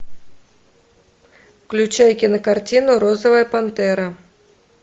включай кинокартину розовая пантера